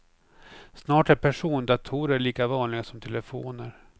Snart är persondatorer lika vanliga som telefoner.